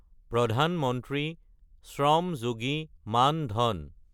প্ৰধান মন্ত্ৰী শ্ৰম যোগী মান-ধান